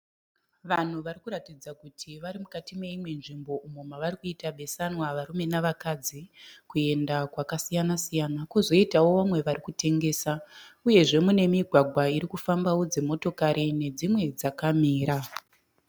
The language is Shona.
Vanhu varikuratidza kuti varimukati meimwe nzvimbo umo mavari kuita besanwa varume navakadzi kuenda kwakasiyana siyana. Kozoitawo vamwe varikutengesa. Uyezve mune migwagwa irikufambawo dzimotokari nedzimwe dzakamira.